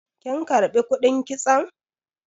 kin karbi kudin kitson?